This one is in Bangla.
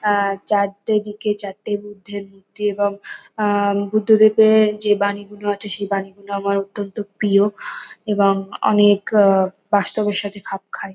আহ চারটে দিকে চারটে বুদ্ধের মূর্তি এবং আহ বুদ্ধ দেবের যে বানীগুলো আছে সেই বানীগুলো আমার অত্যন্ত প্রিয় । এবং অনেক আহ বাস্তবের সাথে খাপ খায়।